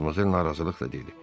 Madmazel narazılıqla dedi.